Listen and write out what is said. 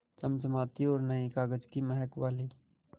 चमचमाती और नये कागज़ की महक वाली